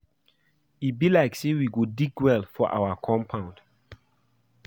E be like say we go dig well for our compound